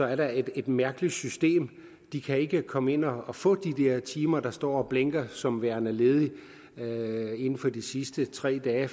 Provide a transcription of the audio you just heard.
er der et mærkeligt system de kan ikke komme ind og få de der timer der står og blinker som værende ledige inden for de sidste tre dage